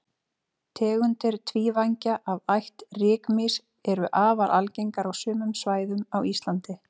tegundir tvívængja af ætt rykmýs eru afar algengar á sumum svæðum á íslandi